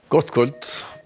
gott kvöld